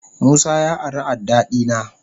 Musa ya ari adda dina.